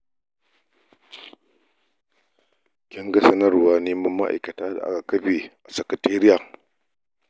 Kin ga sanarwar neman ma'aikata da aka kafe a sakatariya?